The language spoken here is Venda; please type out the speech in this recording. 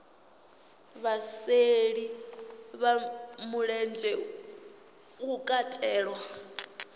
vhasheli vha mulenzhe hu katelwa